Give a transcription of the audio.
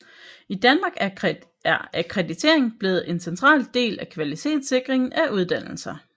I Danmark er akkreditering blevet en central del af kvalitetssikringen af uddannelser